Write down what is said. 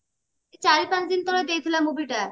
ଚାରି ପାଞ୍ଚଦିନି ତଳେ ଦେଇଥିଲା movie ଟା